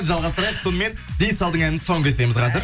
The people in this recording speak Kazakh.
жалғастырайық сонымен дей салдың әнінің тұсауын кесеміз қазір